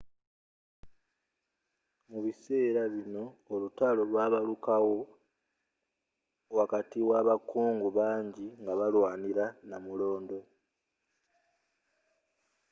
mubiseera bino olutalo olwamanyi lwabaluka wo wakati wa abakungu bangi nga balwanira namulondo